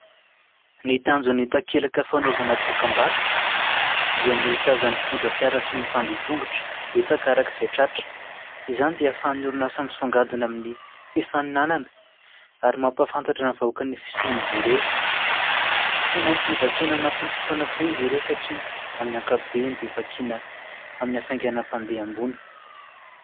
Ny tanjon'ny takelaka fanaovana dokam-barotra, dia ny ho tazan'ny mpitondra fiara sy ny mpandeha tongotra betsaka araka izay tratra. Izany dia hahafahan'ny orinasa misongadina amin'ny fifaninanana ary mampahafantatra ny vahoaka ny fisian'izy ireo. Tsy maintsy vakina ao anatin'ny fotoana fohy izy ireo satria, amin'ny ankapobeny, dia vakina amin'ny hafainganam-pandeha ambony.